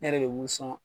Ne yɛrɛ de b'u sɔn